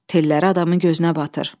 Telləri adamın gözünə batır.